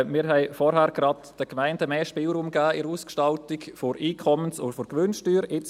Wir haben vorhin gerade den Gemeinden bei der Ausgestaltung der Einkommens- und Gewinnsteuer mehr Spielraum gegeben.